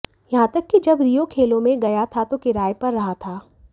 यहां तक कि जब रियो खेलों में गया था तो किराये पर रहा था